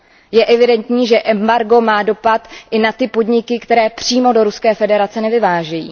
Je evidentní, že embargo má dopad i na ty podniky, které přímo do Ruské federace nevyvážejí.